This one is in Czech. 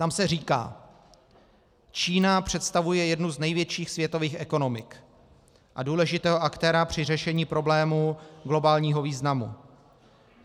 Tam se říká: "Čína představuje jednu z největších světových ekonomik a důležitého aktéra při řešení problémů globálního významu.